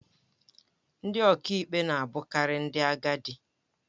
Ndị ọkàikpe na-abụkarị ndị agadi